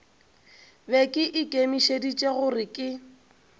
be ke ikemišeditše gore ke